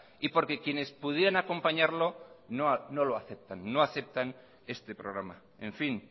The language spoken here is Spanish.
y porque quienes pudieran acompañarle no lo aceptan no aceptan este programa en fin